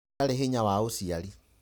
Ndari hinya wa ũciari.